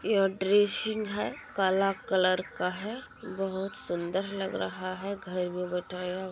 यह ड्रेसिंग है काला कलर का है बहुत सुंदर लग रहा हैं घर में बैठया --